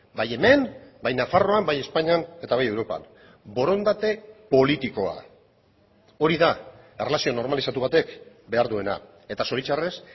bai hemen bai nafarroan bai espainian eta bai europan borondate politikoa hori da erlazio normalizatu batek behar duena eta zoritxarrez